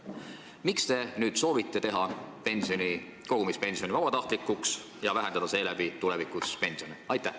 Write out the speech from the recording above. Miks te nüüd soovite teha kogumispensioni vabatahtlikuks ja vähendada seeläbi tulevikus saadavaid pensione?